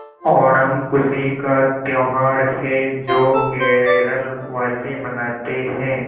ओणम खुशी का त्यौहार है जो केरल वासी मनाते हैं